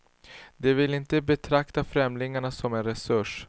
De vill inte betrakta främlingarna som en resurs.